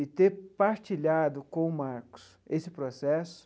E ter partilhado com o Marcos esse processo,